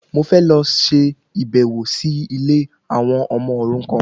Mò fẹ́ lọ ṣe ìbẹ̀wò sí ilé àwọn ọmọ òrukan